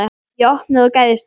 Ég opnaði og gægðist inn.